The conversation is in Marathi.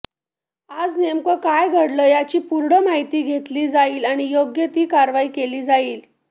आज नेमकं काय घडलं याची पूर्ण माहिती घेतली जाईल आणि योग्य ती कारवाई केली जाईल